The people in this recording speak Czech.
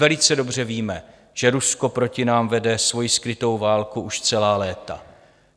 Velice dobře víme, že Rusko proti nám vede svoji skrytou válku už celá léta.